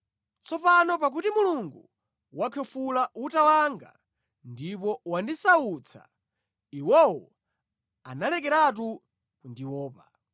Tsopano pakuti Mulungu wakhwefula uta wanga ndipo wandisautsa, iwowo analekeratu kundiopa.